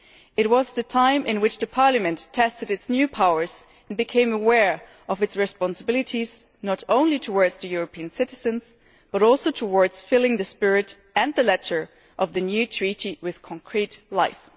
It was the time at which Parliament was testing its new powers and becoming aware of its responsibilities, not only towards European citizens but also towards filling the spirit and the letter of the new Treaty with concrete life.